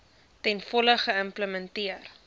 ten volle geïmplementeer